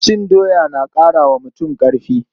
Cin doya na ƙara wa mutum ƙarfi.